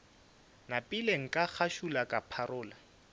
napile ka ngašula ka pharola